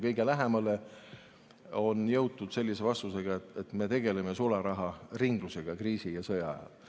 Kõige lähemale on jõutud sellise vastusega, et me tegeleme sularaharinglusega kriisi- ja sõjaajal.